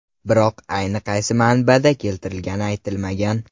Biroq aynan qaysi manbada keltirilgani aytilmagan.